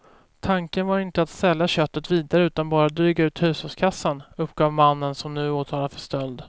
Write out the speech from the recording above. Tanken var inte att sälja köttet vidare utan bara att dryga ut hushållskassan, uppgav mannen som nu är åtalad för stöld.